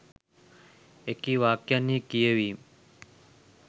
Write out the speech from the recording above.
එකී වාක්‍යයන්හි කියවීම්